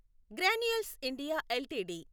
granules India LTD